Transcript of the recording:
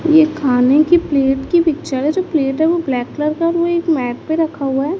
ये खाने की प्लेट की पिक्चर हें जो प्लेट है वो ब्लैक कलर का वो एक मैट पे रखा हुआ है।